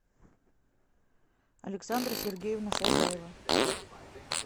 александра сергеевна шайдаева